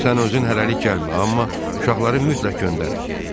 Sən özün hələlik gəlmə, amma uşaqları mütləq göndər.